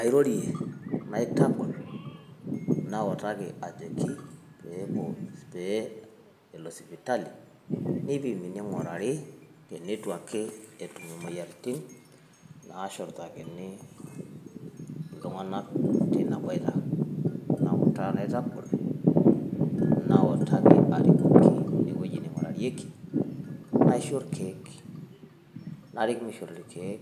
airorie naitanap, pee elo sipitali, nipimi, neingurari, teneitu ake etum imoyiaitin, naashurtakini, iltunganak teina boita. ewueji neingurarieki, naisho irkeek, narik meishori irkeek